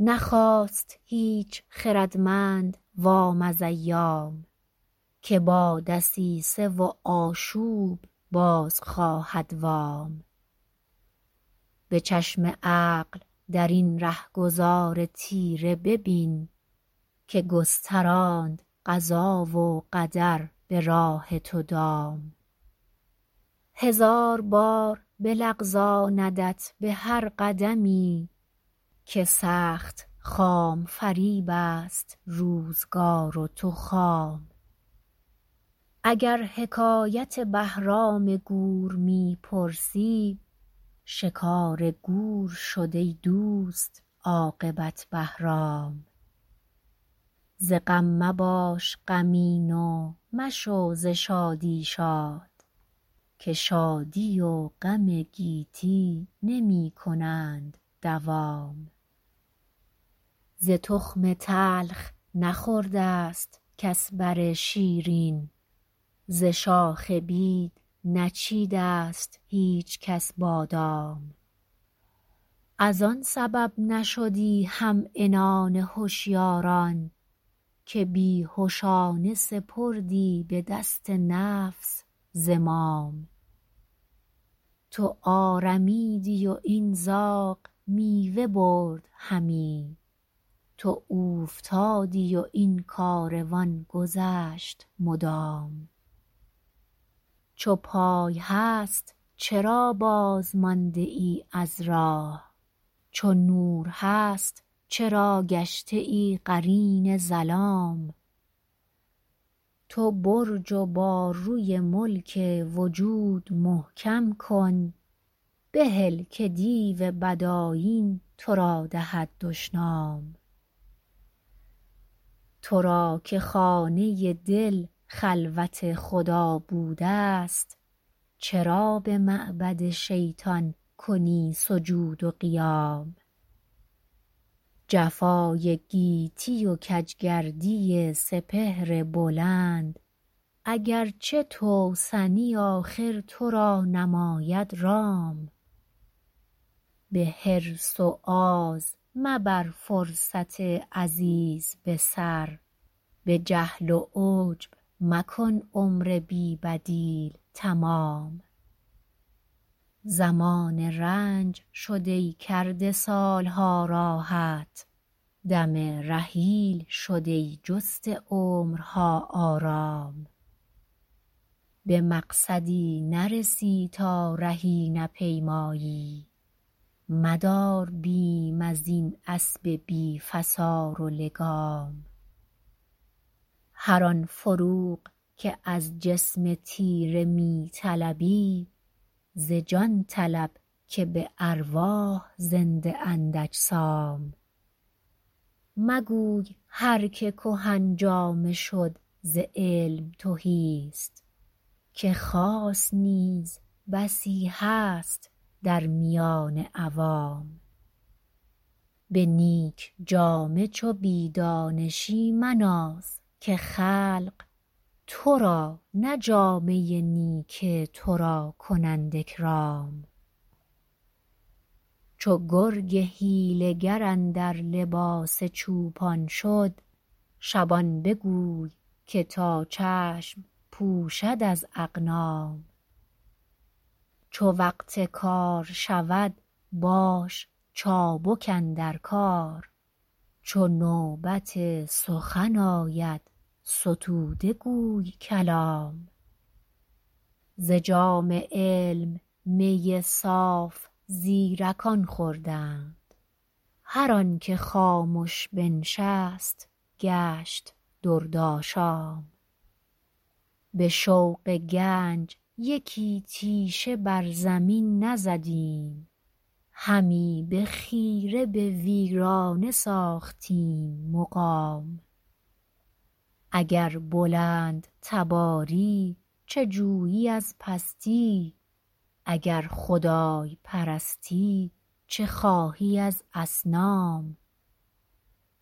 نخواست هیچ خردمند وام از ایام که با دسیسه و آشوب باز خواهد وام به چشم عقل درین رهگذار تیره ببین که گستراند قضا و قدر به راه تو دام هزار بار بلغزاندت به هر قدمی که سخت خام فریبست روزگار و تو خام اگر حکایت بهرام گور می پرسی شکار گور شد ای دوست عاقبت بهرام ز غم مباش غمین و مشو ز شادی شاد که شادی و غم گیتی نمیکنند دوام ز تخم تلخ نخورد است کس بر شیرین ز شاخ بید نچید است هیچکس بادام از آن سبب نشدی همعنان هشیاران که بیهشانه سپردی بدست نفس زمام تو آرمیدی و این زاغ میوه برد همی تو اوفتادی و این کاروان گذشت مدام چو پای هست چرا باز مانده ای از راه چو نور هست چرا گشته ای قرین ظلام تو برج و باروی ملک وجود محکم کن بهل که دیو بد آیین ترا دهد دشنام ترا که خانه دل خلوت خدا بود است چرا بمعبد شیطان کنی سجود و قیام جفای گیتی و کجگردی سپهر بلند اگرچه توسنی آخر ترا نماید رام بحرص و آز مبر فرصت عزیز بسر بجهل و عجب مکن عمر بی بدیل تمام زمان رنج شد ای کرده سالها راحت دم رحیل شد ای جسته عمرها آرام بمقصدی نرسی تا رهی نپیمایی مدار بیم ازین اسب بی فسار و لگام هر آن فروغ که از جسم تیره میطلبی ز جان طلب که بارواح زنده اند اجسام مگوی هر که کهن جامه شد ز علم تهیست که خاص نیز بسی هست در میان عوام به نیک جامه چو بیدانشی مناز که خلق ترا نه جامه نیک ترا کنند اکرام چو گرگ حیله گر اندر لباس چوپان شد شبان بگوی که تا چشم پوشد از اغنام چو وقت کار شود باش چابک اندر کار چو نوبت سخن آید ستوده گوی کلام ز جام علم می صاف زیرکان خوردند هر آنکه خامش بنشست گشت درد آشام بشوق گنج یکی تیشه بر زمین نزدیم همی بخیره به ویرانه ساختیم مقام اگر بلند تباری چه جویی از پستی اگر خدای پرستی چه خواهی از اصنام